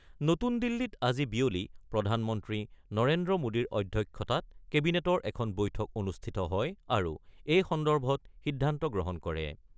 নতুন দিল্লীত আজি বিয়লি প্ৰধানমন্ত্ৰী নৰেন্দ্ৰ মোদীৰ অধ্যক্ষতাত কেবিনেটৰ এখন বৈঠক অনুষ্ঠিত হয় আৰু এই সন্দৰ্ভত সিদ্ধান্ত গ্ৰহণ কৰে।